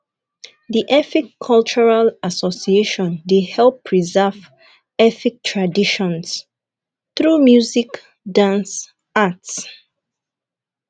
the efik cultural association dey help preserve efik traditions through music dance arts